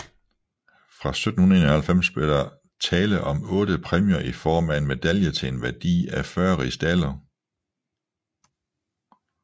Fra 1791 blev der tale om otte præmier i form af en medalje til en værdi af 40 rigsdaler